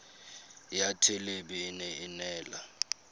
ya thelebi ene e neela